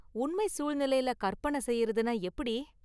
உண்மை சூழ்நிலையில கற்பனை செய்றதுனா எப்படி?